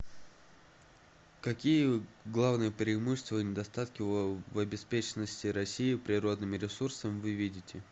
какие главные преимущества и недостатки в обеспеченности россии природными ресурсами вы видите